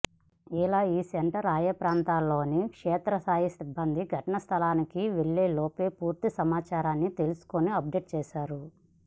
ఇలా ఈ సెంటర్ ఆయా ప్రాంతాల్లోని క్షేత్రస్థాయి సిబ్బంది ఘటనాస్థలికి వెళ్లే లోపు పూర్తి సమాచారాన్ని తెలుసుకుని అప్డేట్ చేస్తారు